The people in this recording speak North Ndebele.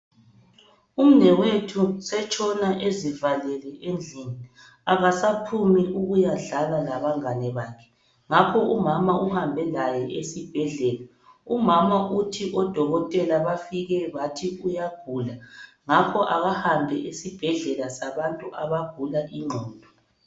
Umnewethu usetshona ezivalele endlini akasaphumi ukuyadlala labangane bakhe ngakho umama uhambe laye esibhedlela umama uthi odokotela bafike bathi uyagula ngakho akahambe esibhedlela sabantu abagula ingqondo.